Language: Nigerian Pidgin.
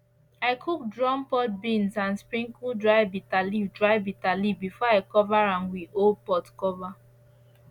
i cook drum pod beans and sprinkle dry bitter leaf dry bitter leaf before i cover am with old pot cover